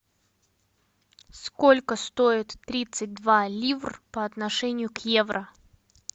сколько стоит тридцать два ливр по отношению к евро